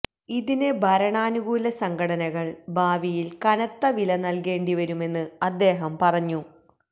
ഇതിന് ഭരണാനുകൂല സംഘടനകള് ഭാവിയില് കനത്ത വില നല്കേണ്ടി വരുമെന്ന് അദ്ദേഹം പറഞ്ഞു